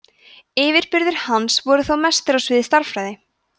yfirburðir hans voru þó mestir á sviði stærðfræði